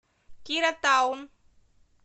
кира таун